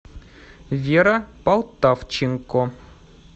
вера полтавченко